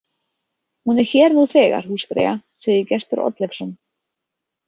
Hún er hér nú þegar, húsfreyja, segir Gestur Oddleifsson.